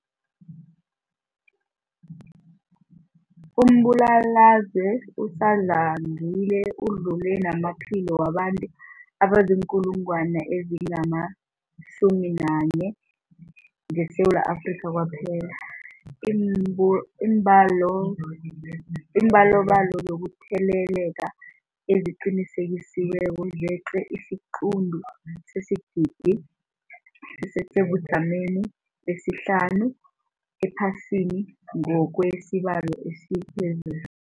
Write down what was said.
Umbulalazwe usadlangile udlule namaphilo wabantu abaziinkulungwana ezi-11 ngeSewula Afrika kwaphela. Iimbalobalo zokutheleleka eziqinisekisiweko zeqe isiquntu sesigidi, sisesebujameni besihlanu ephasini ngokwesibalo esiphezulu.